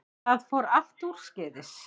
Það fór allt úrskeiðis